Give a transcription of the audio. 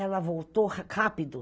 Ela voltou rápido.